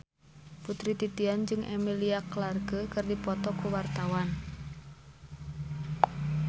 Putri Titian jeung Emilia Clarke keur dipoto ku wartawan